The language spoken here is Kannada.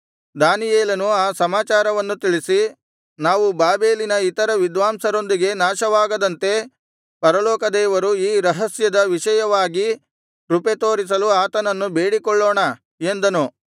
ದಾನಿಯೇಲನು ಆ ಸಮಾಚಾರವನ್ನು ತಿಳಿಸಿ ನಾವು ಬಾಬೆಲಿನ ಇತರ ವಿದ್ವಾಂಸರೊಂದಿಗೆ ನಾಶವಾಗದಂತೆ ಪರಲೋಕ ದೇವರು ಈ ರಹಸ್ಯದ ವಿಷಯವಾಗಿ ಕೃಪೆತೋರಿಸಲು ಆತನನ್ನು ಬೇಡಿಕೊಳ್ಳೋಣ ಎಂದನು